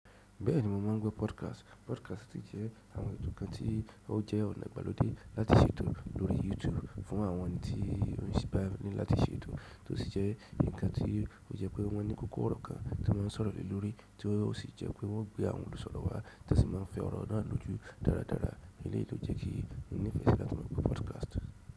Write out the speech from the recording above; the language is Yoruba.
Bẹ́ẹ̀ni mo mọ̀ ń gbo podcast. Podcast jẹ́ àwọn ètò kan tí ó jẹ́ ọ̀nà ìgbàlódé láti ṣètò lórí YouTube fún àwọn ẹni tí ò sí bá wọn ní láti ṣètò. To sí jẹ́ nǹkan tí ó jẹ́ pé wọ́n ní kòkò ọ̀rọ̀ kan tí wọ́n sọ̀rọ̀ lè lórí tí ó sì jẹ́ pé wọ́n o gbe awọ́n olusọ̀rọ̀ wá, tí won sì máa ń fẹ́ ọ̀rọ̀ náà lojú dáradára eleyi ló jẹ́ kí n nífẹ̀ẹ́ sí láti mọ̀ gbo podcast.